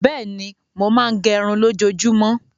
Bẹ́ẹ̀ni, mo máa ń gẹrun lójoojúmọ́.